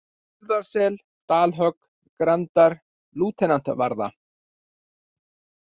Urriðasel, Dalhögg, Grandar, Lautentavarða